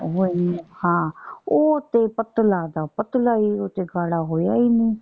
ਹਾਂ ਉਹ ਤੇ ਪਤਲਾ ਦਾ ਪਤਲਾ ਈ। ਉਹ ਤੇ ਗਾੜ੍ਹਾ ਹੋਇਆ ਹੀ ਨਹੀਂ।